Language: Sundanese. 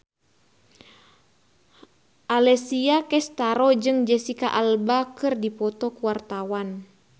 Alessia Cestaro jeung Jesicca Alba keur dipoto ku wartawan